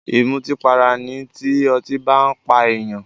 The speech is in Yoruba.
Ìmùtípara ni tí ọtí bá n pa èèyàn